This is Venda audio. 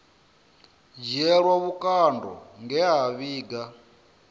dzhielwa vhukando nge a vhiga